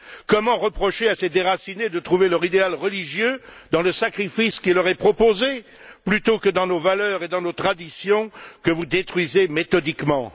Comment pouvons nous reprocher à ces déracinés de trouver leur idéal religieux dans le sacrifice qui leur est proposé plutôt que dans nos valeurs et dans nos traditions, que vous détruisez méthodiquement?